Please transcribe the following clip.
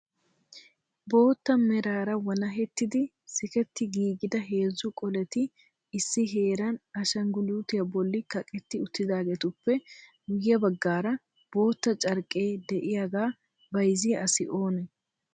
Bootta meraara walahettidi sijetti giigida heezzu qoletti issi jeeran ashinggulutiyaa bollan kaqetti uttidaageetupppe guyye baggaara bootta carqqe de'iyaaga bayzziya asi oonee?